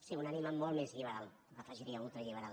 sí una ànima molt més lliberal hi afegiria ultralliberal